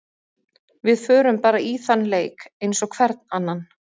Við förum bara í þann leik eins og hvern annan.